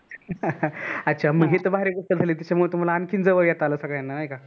अच्छा मग हे तर भारी गोष्ट झाली त्याच्यामुळे तुम्हाला आणखीन जवळ येता आल